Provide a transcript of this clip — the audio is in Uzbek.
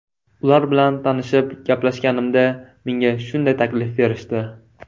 Ular bilan tanishib, gaplashganimda menga shunday taklif berishdi.